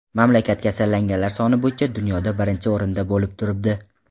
Mamlakat kasallanganlar soni bo‘yicha dunyoda birinchi o‘rinda bo‘lib turibdi.